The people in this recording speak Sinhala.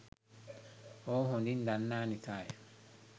ඔහු හොඳින් දන්නා නිසාය.